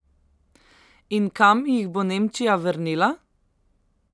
In kam jih bo Nemčija vrnila?